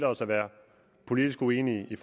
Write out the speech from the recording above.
os at være politisk uenige i